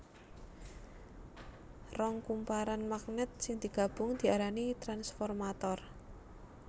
Rong kumparan magnèt sing digabung diarani transformator